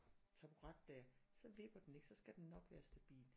Taburet dér så vipper den ikke så skal den nok være stabil